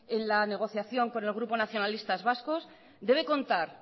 en la negociación con el grupo nacionalistas vascos debe contar